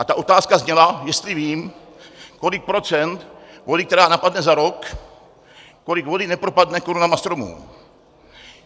A ta otázka zněla, jestli vím, kolik procent vody, která napadne za rok, kolik vody nepropadne korunami stromů.